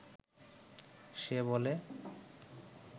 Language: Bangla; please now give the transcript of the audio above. সে বলে